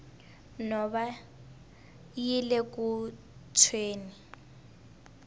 nhova yile ku tshweni